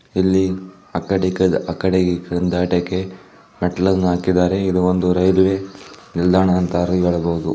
ಇಲ್ಲಿ ಆ ಕಡೆಯಿಂದ ಈ ಕಡೆ ದಾಟಕ್ಕೆ ಮೆಟ್ಟಿಲುಗಳನ್ನು ಹಾಕಿದ್ದಾರೆ ಇದು ಒಂದು ರೈಲು ನಿಲ್ದಾಣ ಅಂತ ಹೇಳಬಹುದು.